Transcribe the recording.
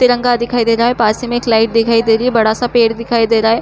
तिंरगा दिखाई दे रहा है पास ही में एक लाइट दिखाई दे रही है बड़ा-सा एक पेड़ दिखाई दे रही है।